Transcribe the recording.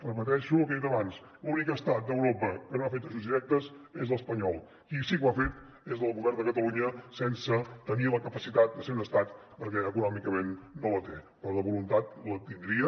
repeteixo el que he dit abans l’únic estat d’europa que no ha fet ajuts directes és l’espanyol qui sí que ho ha fet és el govern de catalunya sense tenir la capacitat de ser un estat perquè econòmicament no la té però la voluntat la tindria